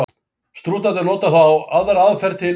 Strútarnir nota þá aðra aðferð til undankomu.